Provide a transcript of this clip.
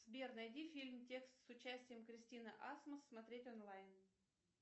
сбер найди фильм текст с участием кристины асмус смотреть онлайн